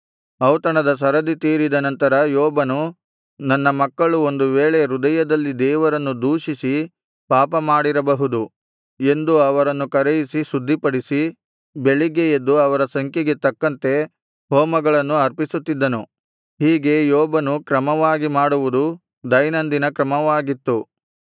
ಔತಣದ ಸರದಿ ತೀರಿದ ನಂತರ ಯೋಬನು ನನ್ನ ಮಕ್ಕಳು ಒಂದು ವೇಳೆ ಹೃದಯದಲ್ಲಿ ದೇವರನ್ನು ದೂಷಿಸಿ ಪಾಪ ಮಾಡಿರಬಹುದು ಎಂದು ಅವರನ್ನು ಕರೆಯಿಸಿ ಶುದ್ಧಿಪಡಿಸಿ ಬೆಳಿಗ್ಗೆ ಎದ್ದು ಅವರ ಸಂಖ್ಯೆಗೆ ತಕ್ಕಂತೆ ಹೋಮಗಳನ್ನು ಅರ್ಪಿಸುತ್ತಿದ್ದನು ಹೀಗೆ ಯೋಬನು ಕ್ರಮವಾಗಿ ಮಾಡುವುದು ದೈನಂದಿನ ಕ್ರಮವಾಗಿತ್ತು